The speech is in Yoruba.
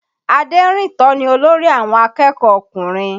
Aderinto ni olórí àwọn akẹ́kọ̀ọ́ ọkùnrin